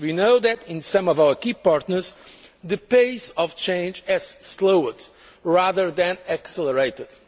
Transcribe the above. easy. We know that in some of our key partners, the pace of change has slowed rather than accelerated.